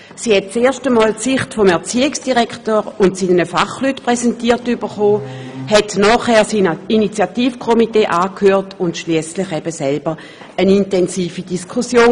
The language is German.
Sie erhielt erstmals die Sicht des Erziehungsdirektors und seiner Fachleute präsentiert, hörte das Initiativkomitee an und führte anschliessend eine intensive Diskussion.